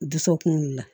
Dusukun wulila